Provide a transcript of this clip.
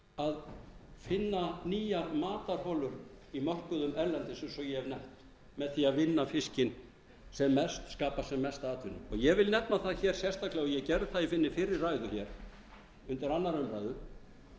að finna nýja matarholur á mörkuðum erlendis eins og ég hef nefnt með því að vinna fiskinn sem mest skapa sem mesta atvinnu ég vil nefna það hér sérstaklega og ég gerði það í minni fyrri ræðu reyndar aðra umræðu